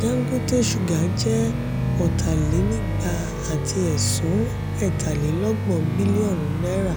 dangote sugar jẹ́ ota-lè-nígbà àti ẹ̀sún etalelogbon bilionu náírà